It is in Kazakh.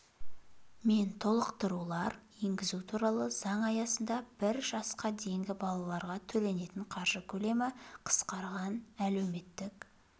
мен толықтырулар енгізу туралы заң аясында бір жасқа дейінгі балаларға төленетін қаржы көлемі қысқарған әлеуметтік